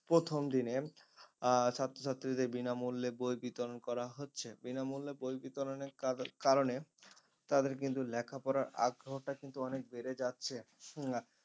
প্রথম দিনে আহ ছাত্র ছাত্রীদের বিনামূল্যে বই বিতরণ করা হচ্ছে বিনামূল্যে বই বিতরণের কারণ কারণে তাদের কিন্তু লেখাপড়া আগ্রহটা কিন্তু অনেক বেড়ে যাচ্ছে হম